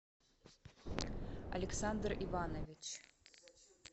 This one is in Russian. александр иванович